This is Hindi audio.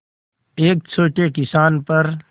एक छोटे किसान पर